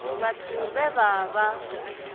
vhathu vhe vha vha vha